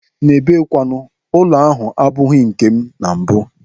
N'ebe kwanu, ụlọ ahụ abụghị nkem na mbụ.